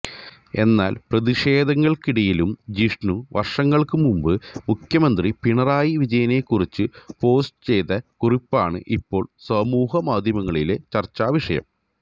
എന്നാല് പ്രതിഷേധങ്ങള്ക്കിടയിലും ജിഷ്ണു വര്ഷങ്ങള്ക്കുമുമ്പ് മുഖ്യമന്ത്രി പിണറായി വിജയനെക്കുറിച്ച് പോസ്റ്റു ചെയ്ത കുറിപ്പാണ് ഇപ്പോള് സമൂഹമാധ്യമങ്ങളിലെ ചര്ച്ചാവിഷയം